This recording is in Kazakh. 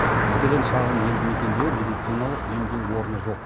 мәселен шағын елді мекенде медициналық емдеу орны жоқ